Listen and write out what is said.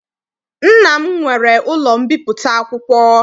Nna m nwere ụlọ mbipụta akwụkwọ